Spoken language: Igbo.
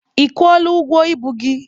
Ị kwụọla ụgwọ ibu gị?